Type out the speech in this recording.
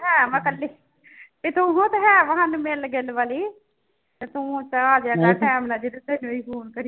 ਹੈ ਮੈਂ ਇਕੱਲੀ ਤੇ ਹੈ ਵਾ ਸਾਨੂੰ ਮਿਲਣ ਗਿਲਣ ਵਾਲੀ ਤੇ ਤੂੰ ਤਾਂ ਆ ਜਾਇਆ ਕਰ time ਨਾਲ ਜਦ ਤੈਨੂੰ ਵੀ phone ਤੇ